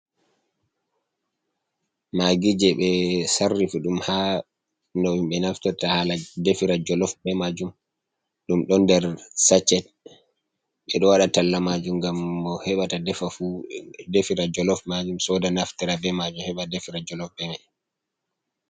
Magijee ɓe sarrifi ɗum um ha no ɓe naftorta hala defira joolof be majuuum, ɗum ɗon nder saachet. Ɓe ɗoo waɗa talla majuum gam mo heɓata defa fuu defira majum soda nafitara be majuum heɓa defira joolof be majuuum.